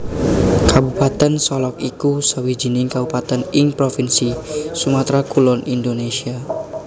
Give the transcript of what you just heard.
Kabupatèn Solok iku sawijining kabupatèn ing provinsi Sumatra Kulon Indonésia